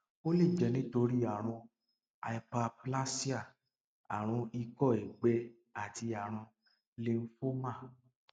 ó lè jẹ nítorí àrùn hyperplasia àrùn ikọ ẹgbẹ tàbí àrùn lymphoma